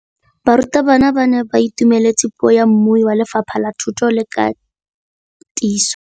Barutabana ba ne ba itumeletse puô ya mmui wa Lefapha la Thuto le Katiso.